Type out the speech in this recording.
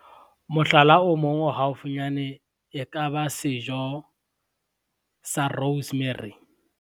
Mohlala o mong o haufinyane e ka ba sejo, sa Rosemary.